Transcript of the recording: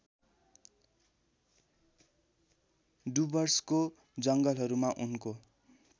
डुवर्सको जङ्गलहरूमा उनको